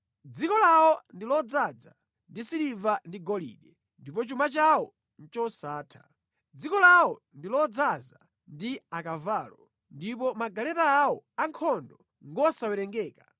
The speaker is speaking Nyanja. Dziko lawo ndi lodzaza ndi siliva ndi golide; ndipo chuma chawo ndi chosatha. Dziko lawo ndi lodzaza ndi akavalo; ndipo magaleta awo ankhondo ngosawerengeka.